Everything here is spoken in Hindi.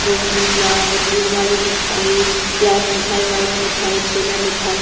रसगुल्ला गुड़ वाली मिठाई ब्लैक मिठाई वाइट मिठाई छेना मिठाई --